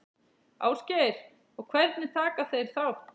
Ásgeir: Og hvernig taka þeir þátt?